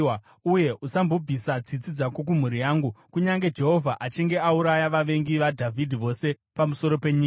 uye usambobvisa tsitsi dzako kumhuri yangu, kunyange Jehovha achinge auraya vavengi vaDhavhidhi vose pamusoro penyika.”